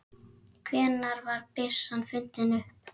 Hvenær var byssan fundin upp?